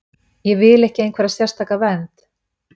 Ég vill ekki einhverja sérstaka vernd.